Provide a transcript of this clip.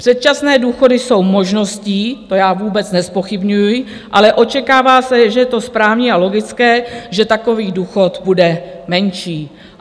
Předčasné důchody jsou možností, to já vůbec nezpochybňuji, ale očekává se, a je to správné a logické, že takový důchod bude menší.